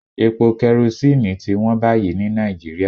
Epo kerosíìnì ti wón báyìí ní Nàìjíríà